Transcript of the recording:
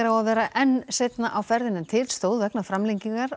á að vera enn seinna á ferðinni en til stóð vegna framlengingar